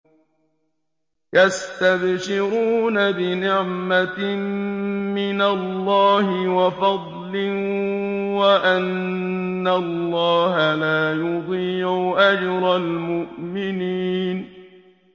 ۞ يَسْتَبْشِرُونَ بِنِعْمَةٍ مِّنَ اللَّهِ وَفَضْلٍ وَأَنَّ اللَّهَ لَا يُضِيعُ أَجْرَ الْمُؤْمِنِينَ